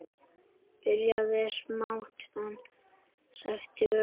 Byrjað smátt, en stækkað ört.